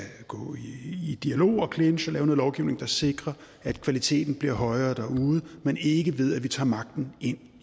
gå i dialog og clinch og lave noget lovgivning der sikrer at kvaliteten bliver højere derude men ikke ved at vi tager magten ind